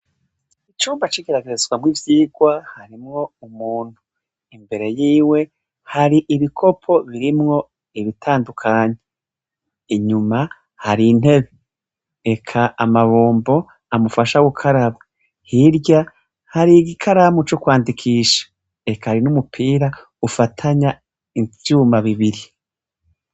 Icumba c'igeragezwamwo ivyigwa harimwo umuntu. Imbere yiwe hari ibikopo birimwo ibitandukanye. Inyuma hari intebe, eka amabombo amufasha gukaraba. Hirya, hari igikaramu c'ukwandikisha. Eka hari n'umupira ufatanya ivyuma bibiri.